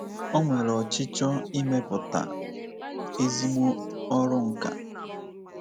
O nwere ọchịchọ imepụta ezigbo ọrụ nkà.